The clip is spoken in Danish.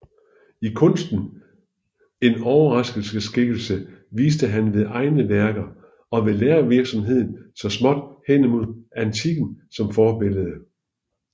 I kunsten en overgangsskikkelse viste han ved egne værker og ved lærervirksomhed så småt hen imod antikken som forbillede